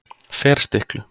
Ferstiklu